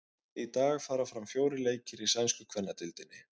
Í dag fara fram fjórir leikir í sænsku kvennadeildinni.